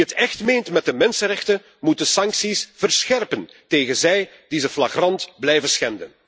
Wie het echt meent met de mensenrechten moet de sancties verscherpen tegen hen die deze rechten flagrant blijven schenden.